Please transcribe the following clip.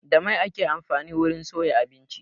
Da mai ake amfani wurin soya abinci.